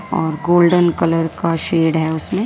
और golden colour का shade है उसमें --